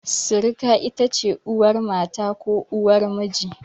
Sirika ita ce uwar mata ko uwar miji.